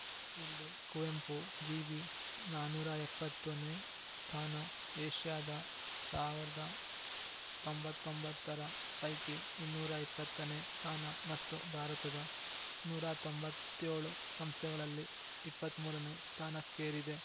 ಇಲ್ಲಿ ಕುವೆಂಪು ವಿವಿ ನಾನೂರ ಎಪ್ಪತ್ತುನೇ ಸ್ಥಾನ ಏಷ್ಯಾದ ಸಾವಿರದ ತೊಂಬತ್ತ್ ಒಂಬತ್ತರ ಪೈಕಿ ಇನ್ನೂರ ಇಪ್ಪತ್ತನೇ ಥಾನ ಮತ್ತು ಭಾರತದ ನೂರ ತೊಂಬತ್ತ್ ಏಳು ಸಂಸ್ಥೆಗಳಲ್ಲಿ ಇಪ್ಪತ್ತ್ ಮೂರನೇ ಸ್ಥಾನಕ್ಕೇರಿದೆ